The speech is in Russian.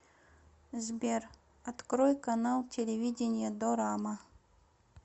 сбер открой канал телевидения дорама